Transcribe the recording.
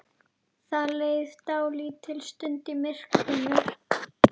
Það leið dálítil stund í myrkrinu.